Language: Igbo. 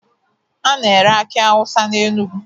A na-ere akị Awụsa n'Enugwu